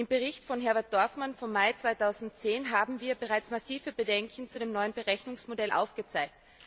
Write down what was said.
Im Bericht von Herbert Dorfmann vom Mai 2010 haben wir bereits massive Bedenken zu dem neuen Berechnungsmodell aufgezeigt.